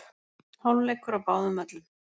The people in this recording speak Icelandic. Hálfleikur á báðum völlum